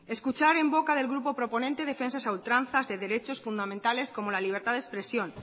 escuchar en boca del grupo proponente defensas a ultranzas de derechos fundamentales como la libertad de expresión